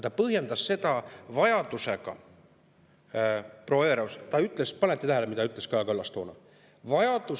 Ta põhjendas seda vajadusega – proua Everaus, kas panete tähele, mida ütles Kaja Kallas toona?